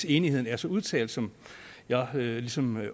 enigheden er så udtalt som jeg ligesom